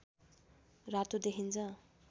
रातो देखिन्छ